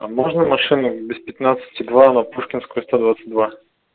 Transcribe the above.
а можно машину без пятнадцати два на пушкинскую сто двадцать два